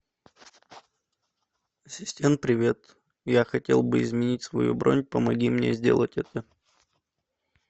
ассистент привет я хотел бы изменить свою бронь помоги мне сделать это